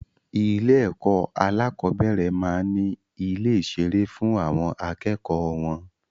Ilé ẹ̀kọ́ alákọ̀bẹ́rẹ̀ maá n ni ilé ìṣeré fún àwọn akẹ́kọ̀ọ́ wọn